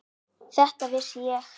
Þetta vissi ég.